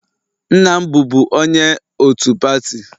Nna m bụbu onye otu pati